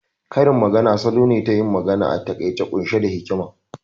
Karin magana salo ne nayin magana a taƙaice ƙunshe da hikima